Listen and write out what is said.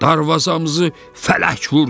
Darvazamızı fələk vurdu!